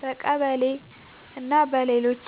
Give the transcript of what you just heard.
በቀበሌ እና በሌሎች